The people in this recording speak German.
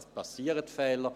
Es passieren Fehler.